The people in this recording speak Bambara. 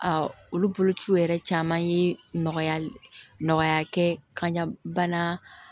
olu bolociw yɛrɛ caman ye nɔgɔya nɔgɔya kɛ ka ɲa bana